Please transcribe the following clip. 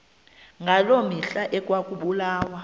ngaloo mihla ekwakubulawa